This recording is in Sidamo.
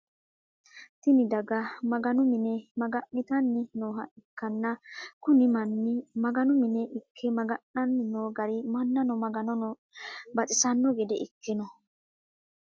Tinni daga maganu mine maga'nitanni nooha ikanna kunni manni maganu mine Ike maga'nanni noo gari mannano maganonno baxisano gede Ike no.